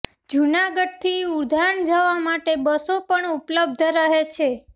જૂનાગઢથી ઉદ્યાન જવા માટે બસો પણ ઉપલબ્ધ રહે છે